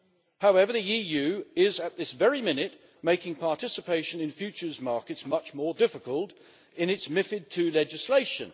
However, the EU is, at this very minute, making participation in futures markets much more difficult in its MiFID II legislation.